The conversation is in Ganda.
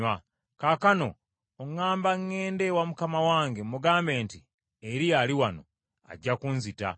Kaakano, oŋŋamba ŋŋende ewa mukama wange mugambe nti, ‘Eriya ali wano.’ Ajja kunzita!”